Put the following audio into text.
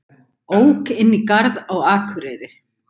Ók inn í garð á Akureyri